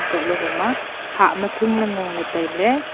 kok ley hom a hah ma thong le ngo ley tailey.